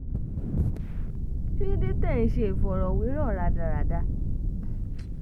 kí ló dé tẹ́ ẹ̀ ń ṣe ìfọ̀rọ̀wérọ̀ rádaràda